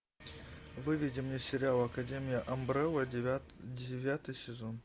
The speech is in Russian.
выведи мне сериал академия амбрелла девятый сезон